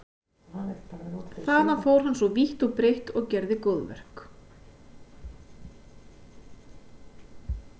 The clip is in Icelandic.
Þaðan fór hann svo vítt og breitt og gerði góðverk.